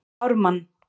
Ármann